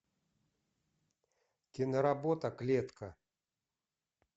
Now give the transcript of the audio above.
киноработа клетка